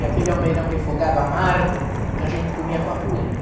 E aquele almeirão refogado amargo que a gente comia com a polenta.